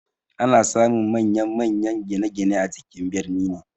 Ana samun manyan-manyan gine-gine a cikin birni ne.